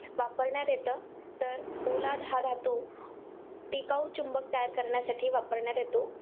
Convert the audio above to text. वापरण्यात येतं? तर पोलाद हा धातू टिकाऊ चुंबक तयार करण्यासाठी वापरण्यात येतो.